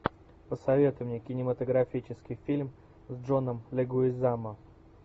посоветуй мне кинематографический фильм с джоном легуизамо